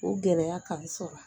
O gɛrɛya ka n sɔrɔ